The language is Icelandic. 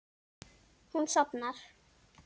Hún sofnar.